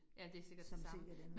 Ja, det sikkert det samme